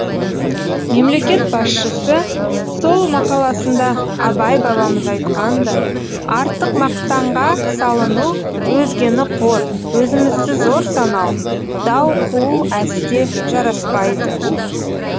мемлекет басшысы сол мақаласында абай бабамыз айтқандай артық мақтанға салыну өзгені қор өзімізді зор санау дау қуу әсте жараспайды